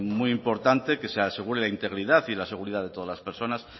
muy importante que se asegure la integridad y la seguridad de todas las personas